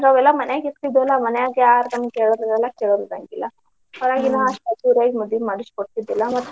ನಾವೆಲ್ಲಾ ಮನ್ಯಾಗ್ ಇರ್ತಿದ್ವಲ್ಲಾ ಮನ್ಯಾಗ ಯಾರ್ ಬಂದ್ ಹೇಳೋರ್ ಇರಲ್ಲಾ ಕೇಳೋರ್ ಇರಂಗಿಲ್ಲಾ. ಮದ್ವಿ ಮಾಡಿಸಿ ಕೊಡ್ತಿದಿಲ್ಲಾ.